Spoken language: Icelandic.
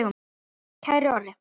Kæri Orri.